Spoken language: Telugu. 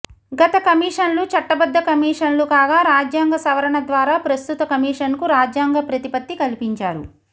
గత కమిషన్లు చట్టబద్ధ కమిషన్లు కాగా రాజ్యాంగ సవరణ ద్వారా ప్రస్తుత కమిషన్కు రాజ్యాంగ ప్రతిపత్తి కల్పించారు